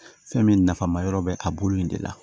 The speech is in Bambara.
Fɛn min nafa ma yɔrɔ bɛ a bolo in de la